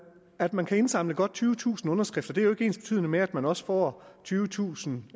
at man kan indsamle godt tyvetusind underskrifter er jo ikke ensbetydende med at man også får tyvetusind